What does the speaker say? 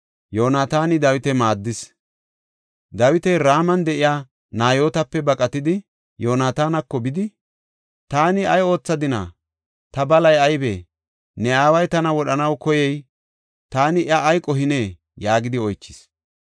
Dawiti Raman de7iya Nayootape baqatidi, Yoonatanako bidi, “Taani ay oothadina? Ta balay aybee? Ne aaway tana wodhanaw koyey taani iya ay qohinee?” yaagidi oychis.